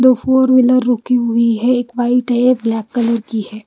दो four wheeler रुकी हुई है एक वाइट है एक ब्लैक कलर की है।